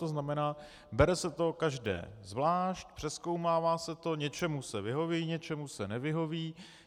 To znamená, bere se to každé zvlášť, přezkoumává se to, něčemu se vyhoví, něčemu se nevyhoví.